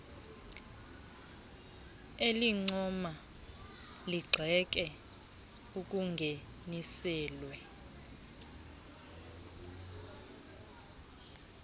elincoma ligxeke okungeniselwe